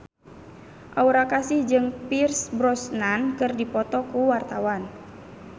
Aura Kasih jeung Pierce Brosnan keur dipoto ku wartawan